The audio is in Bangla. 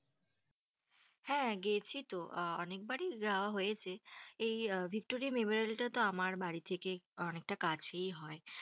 হেঁ, গেছি তো অনেক বারি যাওয়া হয়েছে, এই ভিক্টোরিয়া মেমোরিয়াল টা তো আমার বাড়ি থেকে অনেকটা কাছেই হয়,